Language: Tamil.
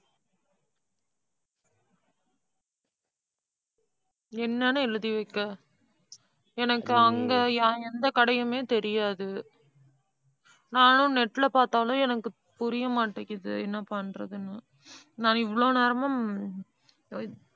என்னன்னு எழுதி வைக்க எனக்கு அங்க எந்த கடையுமே தெரியாது. நானும், net ல பார்த்தாலும் எனக்கு புரிய மாட்டேங்குது. என்ன பண்றதுன்னு. நான், இவ்வளவு நேரமும்,